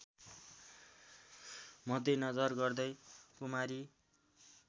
मध्यनजर गर्दै कुमारी